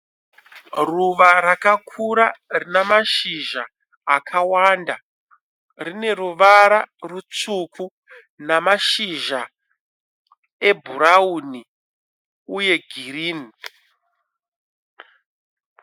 Ruva rakakura rinemashizha akawanda. Rineruvara rutsvuku namashizha ebhurawuni uye girinhi.